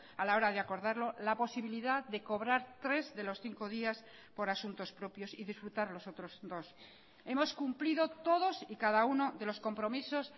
a la hora de acordarlo la posibilidad de cobrar tres de los cinco días por asuntos propios y disfrutar los otros dos hemos cumplido todos y cada uno de los compromisos